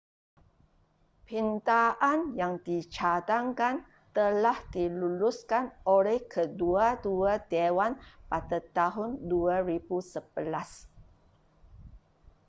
pindaan yang dicadangkan telah diluluskan oleh kedua-dua dewan pada tahun 2011